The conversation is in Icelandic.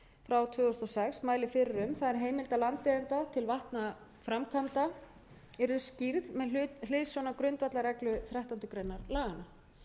frá tvö þúsund og sex mælir fyrir um það er að heimilda landeigenda til vatnaframkvæmda yrðu skýrð með hliðsjón af grundvallarreglu þrettándu greinar laganna